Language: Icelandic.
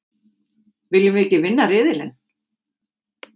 Viljum við ekki vinna riðilinn?